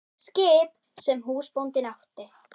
Skip sem húsbóndinn átti?